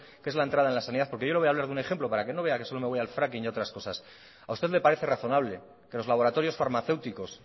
que es la entrada en la sanidad porque yo le voy a hablar de un ejemplo para que no vea que solo me voy al fracking y otras cosas a usted le parece razonable que los laboratorios farmacéuticos